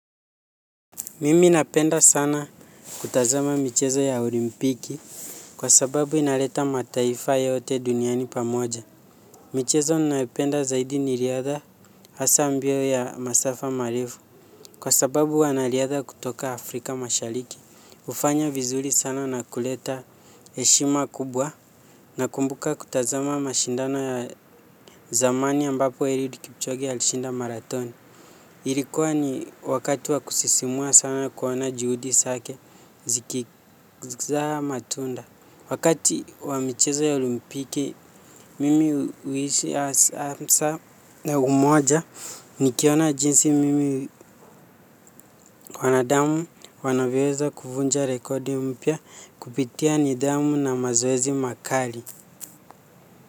Mimi ninapenda sana kutazama michezo ya olimpiki kwa sababu inaleta mataifa yote duniani pamoja. Michezo ninayopenda zaidi ni riadha hasa mbio ya masafa marefu kwa sababu wanariadha kutoka Afrika mashariki. Hufanya vizuri sana na kuleta heshima kubwa na kumbuka kutazama mashindano ya zamani ambapo eliud kipchoge alishinda marathoni. Ilikuwa ni wakati wa kusisimua sana kuona juhudi zake zikizaa matunda. Wakati wa michizo ya olimpiki, mimi huishi hasa na umoja nikiona jinsi mimi wanadamu wanavyoweza kuvunja rekodi mpya kupitia nidhamu na mazoezi makali.